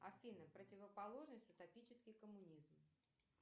афина противоположность утопический коммунизм